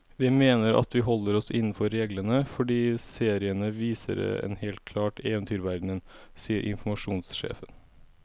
Vi mener at vi holder oss innenfor reglene, fordi seriene viser en helt klar eventyrverden, sier informasjonssjefen.